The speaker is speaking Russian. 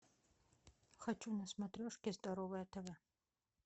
хочу на смотрешке здоровое тв